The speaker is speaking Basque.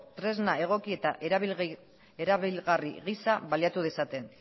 tresna egoki eta erabilgarri gisa baliatu dezaten